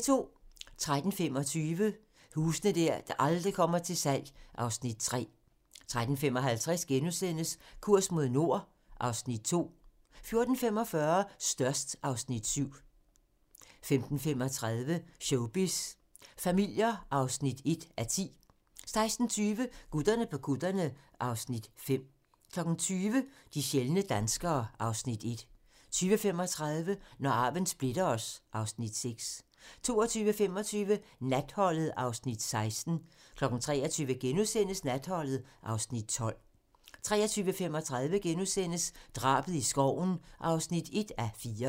13:25: Huse der aldrig kommer til salg (Afs. 3) 13:55: Kurs mod nord (Afs. 2)* 14:45: Størst (Afs. 7) 15:35: Showbiz familier (1:10) 16:20: Gutterne på kutterne (Afs. 5) 20:00: De sjældne danskere (Afs. 1) 20:35: Når arven splitter os (Afs. 6) 22:25: Natholdet (Afs. 16) 23:00: Natholdet (Afs. 12)* 23:35: Drabet i skoven (1:4)*